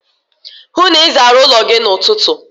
Hụụ na Ị zara ụlọ gị n'ụtụtụ!